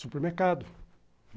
Supermercado.